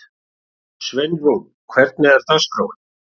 Sveinrún, hvernig er dagskráin?